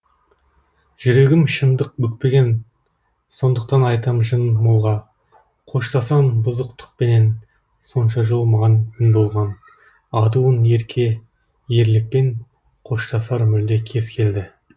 жүрегім шындық бүкпеген сондықтан айтам жын молға қоштасам бұзықтықпенен сонша жыл маған мін болған адуын ерке ерлікпен қоштасар мүлде кез келді